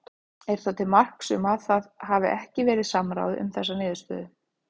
Er það til marks um að það hafi ekki verið samráð um þessa niðurstöðum?